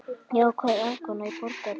Jákvæð afkoma í Borgarbyggð